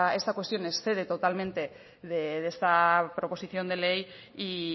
esta cuestión excede totalmente de esta proposición de ley y